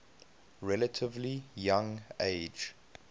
relatively young age